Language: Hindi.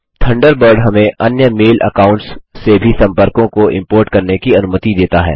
थंडरबर्ड हमें अन्य मेल अकाउंट्स से भी सम्पर्कों को इम्पोर्ट करने की अनुमति देता है